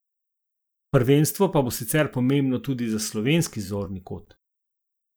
Prvenstvo pa bo sicer pomembno tudi za slovenski zorni kot.